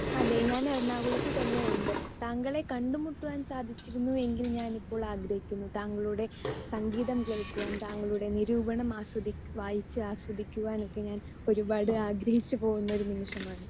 Speaker 2 അതെ ഞാൻ എറണാകുളത്ത് തന്നെയുണ്ട്. താങ്കളെ കണ്ടുമുട്ടുവാൻ സാധിച്ചിരുന്നു എങ്കിൽ ഞാൻ ഇപ്പോൾ എന്നാൽ ഞാൻ ഇപ്പോൾ ആഗ്രഹിക്കുന്നു. താങ്കളുടെ സംഗീതം കേൾക്കുവാൻ താങ്കളുടെ നിരൂപണം ആസ്വദിക്കുവാൻ വായിച്ച് ആസ്വദിക്കുവാൻ ഒക്കെ ഞാൻ ഒരുപാട് ആഗ്രഹിച്ചു പോകുന്ന ഒരു നിമിഷമാണ് ഇപ്പോ.